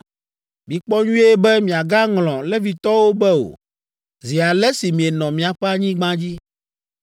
Mikpɔ nyuie be miagaŋlɔ Levitɔwo be o, zi ale si mienɔ miaƒe anyigba dzi.